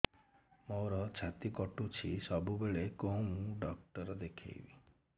ମୋର ଛାତି କଟୁଛି ସବୁବେଳେ କୋଉ ଡକ୍ଟର ଦେଖେବି